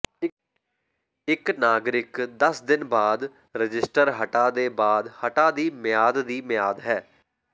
ਇੱਕ ਨਾਗਰਿਕ ਦਸ ਦਿਨ ਬਾਅਦ ਰਜਿਸਟਰ ਹਟਾ ਦੇ ਬਾਅਦ ਹਟਾ ਦੀ ਮਿਆਦ ਦੀ ਮਿਆਦ ਹੈ